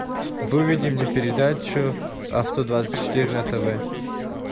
выведи мне передачу авто двадцать четыре на тв